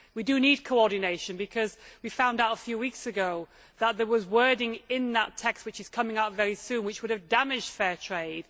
We do need coordination because we found out a few weeks ago that there was wording in that text which is coming out very soon which would have damaged Fair Trade.